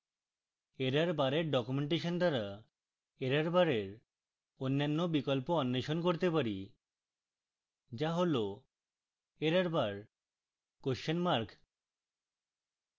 errorbar এর documentation দ্বারা errorbar এর অন্যান্য বিকল্প অন্বেষণ করতে পারি